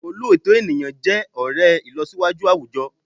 Òlóòtọ́ ènìyàn jẹ́ ọ̀rẹ́ ìlọsíwájú àwùjọ